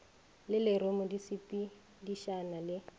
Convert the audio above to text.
le lerumu di sepedišana le